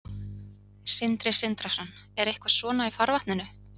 Sindri Sindrason: Er eitthvað svona í farvatninu?